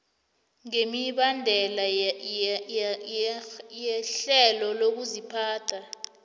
ngemibandela yerhelo lokuziphatha